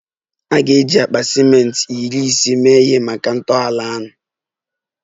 A ga-eji akpa ciment iri ise mee ihe maka ntọala ahụ